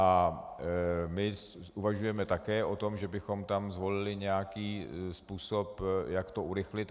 A my uvažujeme také o tom, že bychom tam zvolili nějaký způsob, jak to urychlit.